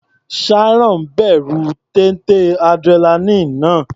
Sharon bẹ̀rù téńté adrenaline náà.